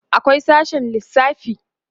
akwai sashe lissafi